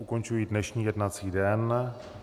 Ukončuji dnešní jednací den.